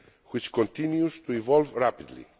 which continues to evolve rapidly.